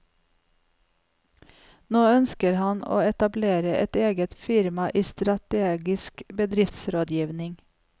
Nå ønsker han å etablere et eget firma i strategisk bedriftsrådgivning.